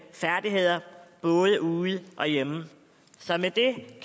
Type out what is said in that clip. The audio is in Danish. både ude og hjemme så med det